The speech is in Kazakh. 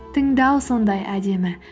тыңдау сондай әдемі